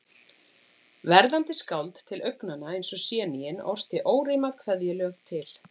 Verðandi skáld, til augnanna eins og séníin, orti órímað kveðjuljóð til